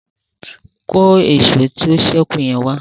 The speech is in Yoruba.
kọ Èṣó tó sẹku yen wá.